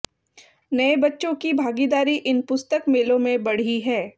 नए बच्चों की भागीदारी इन पुस्तक मेलों में बढ़ी है